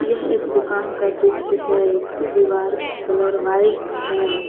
यह एक दुकान का दृश्य है इसकी दीवार की कलर व्हाइट है।